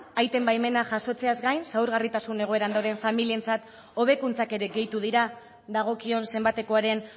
aiten baimena jasotzeaz gain zaurgarritasun egoeran dauden familientzat hobekuntzak ere gehitu dira dagokion zenbatekoaren